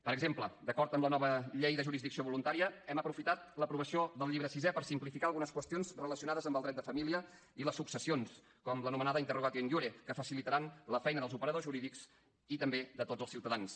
per exemple d’acord amb la nova llei de jurisdicció voluntària hem aprofitat l’aprovació del llibre sisè per simplificar algunes qüestions relacionades amb el dret de família i les successions com l’anomenada interrogatio in iure que facilitaran la feina dels operadors jurídics i també de tots els ciutadans